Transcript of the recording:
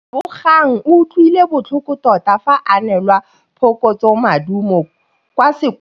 Lebogang o utlwile botlhoko tota fa a neelwa phokotsômaduô kwa sekolong.